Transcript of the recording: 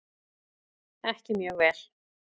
Ekki mjög vel.